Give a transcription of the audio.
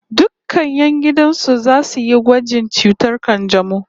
Dukkan 'yan gidan su zasu yi gwajin cutar kanjamau